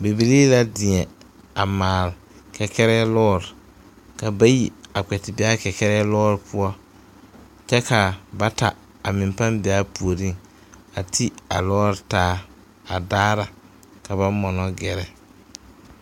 Bibilii deɛ a maale kɛkɛrɛɛ lɔɔre ka bayi a kpɛ ti be a kɛkɛrɛɛ lɔɔre poɔ kyɛ kaa bata a meŋ be aa puoriŋ a ti a lɔɔre taa a daara ka ba mɔnɔ gɛrɛ.